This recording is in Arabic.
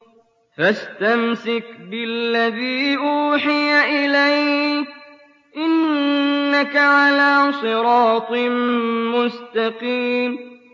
فَاسْتَمْسِكْ بِالَّذِي أُوحِيَ إِلَيْكَ ۖ إِنَّكَ عَلَىٰ صِرَاطٍ مُّسْتَقِيمٍ